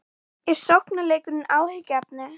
Heimir: Eins og þjóðarleiðtogarnir hér á bak við okkur?